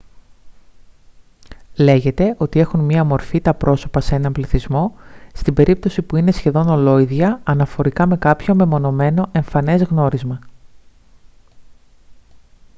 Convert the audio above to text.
λέγεται ότι έχουν μία μορφή τα πρόσωπα σε έναν πληθυσμό στην περίπτωση που είναι σχεδόν ολόιδια αναφορικά με κάποιο μεμονωμένο εμφανές γνώρισμα